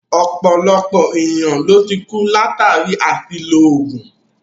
Ọ̀pọ̀lọpọ̀ ènìyàn ló tí kú látàri àṣìlò oògùn.